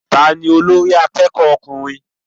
Ta ní olórí akẹ́kọ̀ọ́ ọkùnrin?